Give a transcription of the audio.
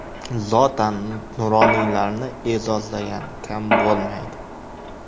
Zotan, nuroniylarni e’zozlagan kam bo‘lmaydi.